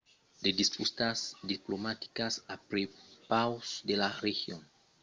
de disputas diplomaticas a prepaus de la region contunhan de maganhar las relacions entre armènia e azerbaitjan